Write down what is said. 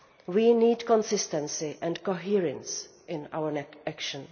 We need consistency and coherence in our action.